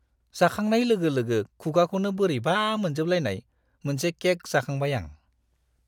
जाखांनाय लोगो-लोगो खुगाखौनो बोरैबा मोनजोबलायनाय मोनसे केक जाखांबाय आं!